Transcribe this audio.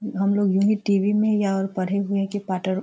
हमलोग यही टी.वी. में या पढ़े हुए है की पाटर --